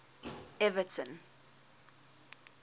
everton